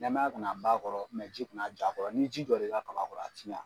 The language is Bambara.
Nɛmaya kana ban a kɔrɔ ji kana ja a kɔrɔ ni ji jɔr'i ka kaba kɔrɔ a tiɲɛ